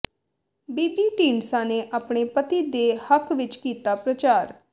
ਬੀਬੀ ਢੀਂਡਸਾ ਨੇ ਆਪਣੇ ਪਤੀ ਦੇ ਹੱਕ ਵਿੱਚ ਕੀਤਾ ਪ੍ਰਚਾਰ